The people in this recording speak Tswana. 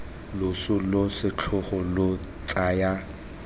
loso lo setlhogo lo tsaya